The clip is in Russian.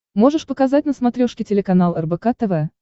можешь показать на смотрешке телеканал рбк тв